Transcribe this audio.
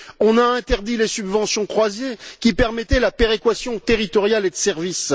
On a interdit les subventions croisées qui permettaient la péréquation territoriale et de service.